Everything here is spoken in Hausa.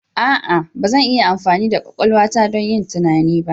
A'a! Ba zan iya amfani da kwakwalwa ta don yin tunani ba.